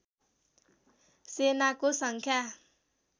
सेनाको सङ्ख्या